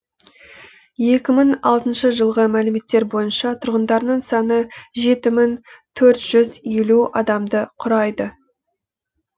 екі мың алтыншы жылғы мәліметтер бойынша тұрғындарының саны жеті мың төрт жүз елу адамды құрайды